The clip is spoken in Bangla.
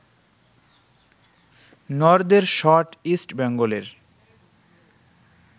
নর্দের শট ইস্ট বেঙ্গলের